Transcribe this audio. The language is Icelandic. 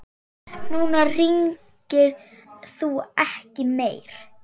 Núna hringir þú ekki meir.